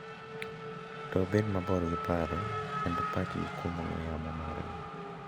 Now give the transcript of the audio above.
To bedo mabor gi paro, keto pachgi kuom ong'we yamo mag gi .